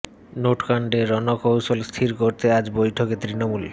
note কাণ্ডে রণ কৌশল স্থির করতে আজ বৈঠকে তৃণমূল